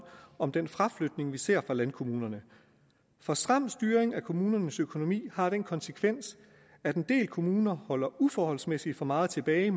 om den fraflytning vi ser fra landkommunerne for stram styring af kommunernes økonomi har den konsekvens at en del kommuner holder uforholdsmæssigt for meget tilbage